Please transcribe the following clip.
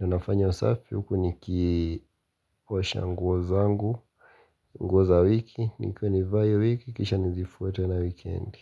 na nafanya usafi huku nikiosha nguo zangu, nguo za wiki nikuwe nivae hii wiki kisha nizifue tena weekendi.